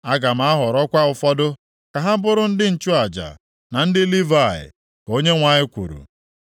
Aga m ahọrọkwa ụfọdụ ka ha bụrụ ndị nchụaja na ndị Livayị,” ka Onyenwe anyị kwuru.